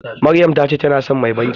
Maryam ta ce ta san mai bankin.